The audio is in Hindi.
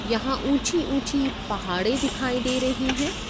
यहाँ पर उंची-उंची पहाड़े दिखायी दे रही हैं।